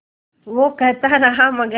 वो कहता रहा मगर